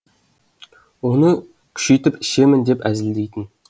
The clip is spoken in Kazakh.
оны күшейтіп ішемін деп әзілдейтін